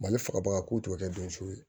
Mali faga baga ko tɛ kɛ denso ye